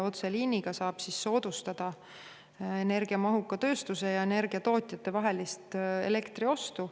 Otseliiniga saab soodustada energiamahuka tööstuse elektriostu energiatootjatelt.